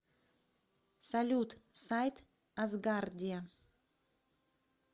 салют сайт асгардия